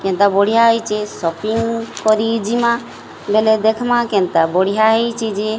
କେନତା ବଢ଼ିଆ ହେଇଚେ ସପିଙ୍ଗ କରି ଜିମା ବେଲେ ଦେଖେମା କେନତା ବଢ଼ିଆ ହେଇଚି ଯେ --